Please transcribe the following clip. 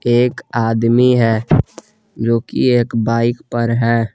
एक आदमी है जो कि एक बाइक पर है।